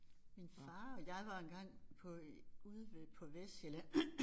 Min far og jeg var engang på ude ved på Vestsjælland